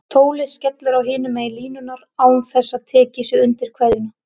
Tólið skellur á hinum megin línunnar án þess að tekið sé undir kveðjuna.